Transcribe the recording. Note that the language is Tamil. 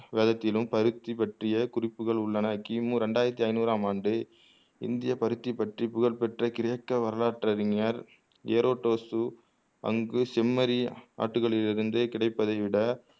வேதத்திலும் பருத்தி பற்றிய குறிப்புகள் உள்ளன கிமு ரெண்டாயிரத்து ஐனூறாம் ஆண்டு இந்திய பருத்தி பற்றி புகழ் பெற்ற கிரேக்க வரலாற்று அறிஞர் ஏரொடோசு அங்கு செம்மறி ஆட்டுகளில் இருந்து கிடைப்பதை விட